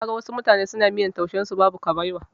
Na ga wasu mutane suna miyar taushen su babu kabewa.